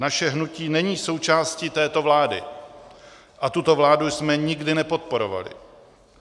Naše hnutí není součástí této vlády a tuto vládu jsme nikdy nepodporovali.